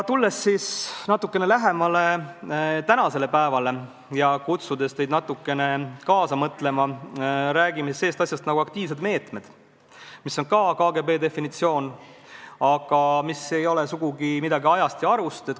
Tulles natukene lähemale tänasele päevale ja kutsudes teid kaasa mõtlema, räägin ma sellisest asjast nagu aktiivmeetmed, mis on ka KGB definitsioon, aga mis ei ole sugugi midagi ajast ja arust.